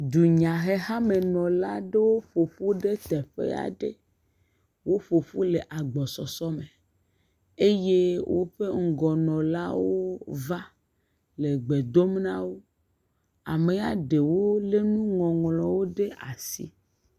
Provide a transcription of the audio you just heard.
Dunyahehamenɔlawo ƒo ƒu ɖe teƒe aɖe. Woƒo ƒu le agbɔsɔsɔme eye woƒe ŋgɔnɔlawo va le gbe dom na wo. Ame aɖewo lé nuŋɔŋlɔwo ɖe asi.